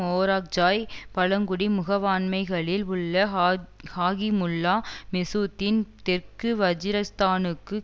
ஓராக்ஜாய்க்ஜாய் பழங்குடி முகவாண்மைகளில் உள்ள ஹா ஹாகிமுல்லா மெசூத்தின் தெற்கு வஜீரிஸ்தானுக்கு